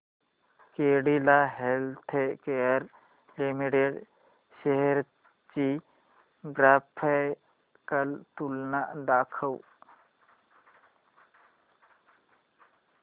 Cadila healthcare limited shares ची graphical तुलना दाखव